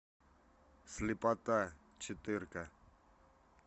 слепота четырка